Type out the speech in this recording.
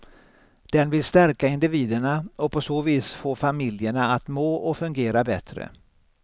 Den vill stärka individerna och på så vis få familjerna att må och fungera bättre.